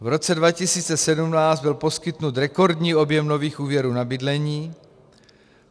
V roce 2017 byl poskytnut rekordní objem nových úvěrů na bydlení.